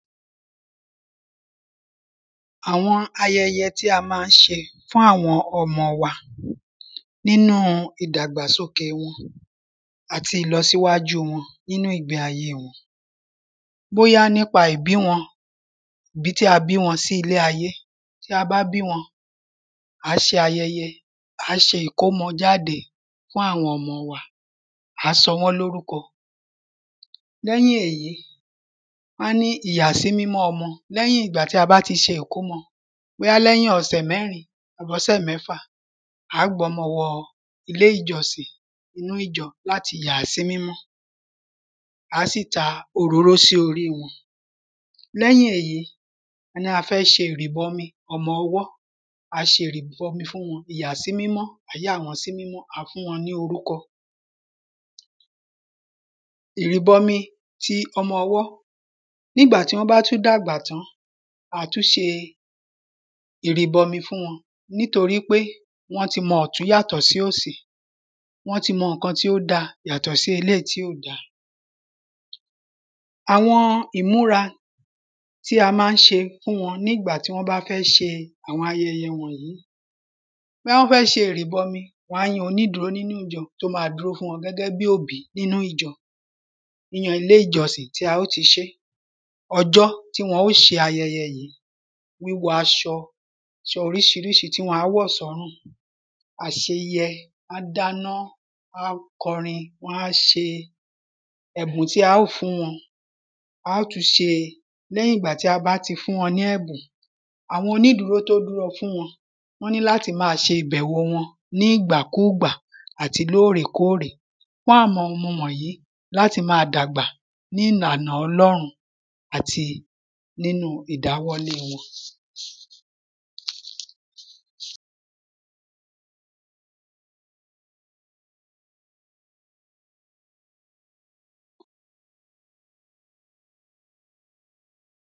Àwọn ayẹyẹ tí a má ń ṣe fún àwọn ọmọ wa nínú ìdàgbàsokè wọn àti ìlọsíwájú wọn nínú ìgbé ayé wọn. Bóyá nípa ìbí wọn ìbí tí a bí wọn sí ilé ayé tí a bá bí wọn à á ṣe ayẹyẹ à á ṣe ìkómọjáde fún àwọn ọmọ wa à á sọ wọ́n lórúkọ. Lẹ́yìn èyí a ní ìyàsímímọ́ ọmọ lẹ́yìn ìgbà tí a bá ti ṣe ìkómọ bóyá lẹ́yìn ọ̀sẹ̀ mẹ́rin àbọ́sẹ̀ mẹ́fà à á gbọ́mọ wọ ilé ìjọsìn inú ìjọ láti yàá sí mímọ́ à á sì ta òróró sí orí wọn. Lẹ́yìn èyí a ní a fẹ́ ṣe ìrìbọmi ọmọ ọwọ́ a ṣe ìrìbọmi fún wọn ìyàsímímọ́ à á yà wọ́n sí mímọ́ a fún wọn ní orúkọ. Ìrìbọmi ti ọmọ ọwọ́. Ní ìgbà tí wọ́n bá tún dàgbà tán à tún ṣe ìrìbọmi fún wọn nítorípé wọ́n ti mọ ọ̀tún yàtọ̀ sí òsì wọ́n ti mọ nǹkan tí ó dá yàtọ̀ sí eléèyí tí ò da. Àwọn ìmúra tí a má ń ṣe fún wọn ní ìgbà tí wọ́n bá fẹ́ ṣe àwọn ayẹyẹ wọ̀nyìí. Tí wọ́n bá fẹ́ ṣe ìrìbọmi wọ́n á yan onídúró nínú ìjọ tí ó má dúró fún wọn gẹ́gẹ́ bí òbí nínú ìjọ nínú ilé ìjọsìn tí a ó ti ṣé. Ọjọ́ tí wọn ó ṣe ayẹyẹ yìí wíwọ aṣọ aṣọ oríṣiríṣi tí wọn á wọ̀ sọ́rùn àṣeyẹ wọ́n á dáná wón á korin wọ́n á ṣe ẹ̀bùn tí a ó fún wọn á ó tún ṣe. Lẹ́yìn ìgbà tí a bá ti fún wọn ní ẹ̀bùn àwọn onídúró tó dúró fún wọn ní láti má ṣe ìbẹ̀wò wọn nígbàkúgbà àti lórèkórè fún àwọn ọmọ wọ̀nyìí láti má dàgbà ní ìlànà ọlọ́run àti nínú ìdáwọ́lé wọn.